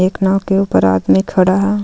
एक नाव के ऊपर आदमी खड़ा है.